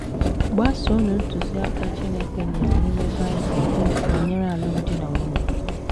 Gbasoonụ ntụziaka Chineke nyere n’ime Bible banyere alụmdi na nwunye